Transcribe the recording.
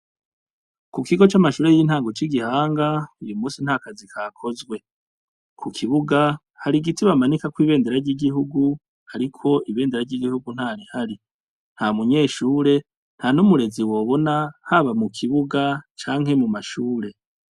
Ku kigo c'amashure y'intango c'Igihanga, uyu musi ntakazi kakozwe.ku kibuga har'igiti bamanikako ibendera ry'igihugu, ariko ibendera ry'igihugu ntarihari. Nta munyeshure, ntanumurezi wobona haba mu kibuga canke mu mashure.